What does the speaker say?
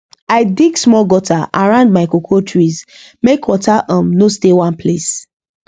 i dig small gutter around my cocoa trees make water um no stay one place